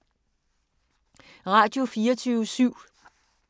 Radio24syv